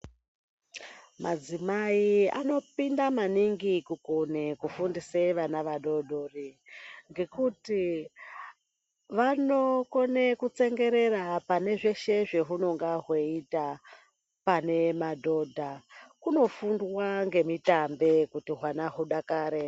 Madzimai anokone maningi kufundisa vana vechidodori ngekuti vanokone kutsengerera pane zveshe zvehunenge hweiita pane madhodha. Kunofundwa nemitambe kuti hwana hwudakare.